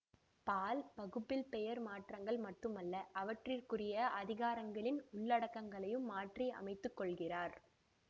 பால் பகுப்பில் பெயர் மாற்றங்கள் மட்டுமல்ல அவற்றிற்குரிய அதிகாரங்களின் உள்ளடக்கங்களையும் மாற்றி அமைத்து கொள்கிறார்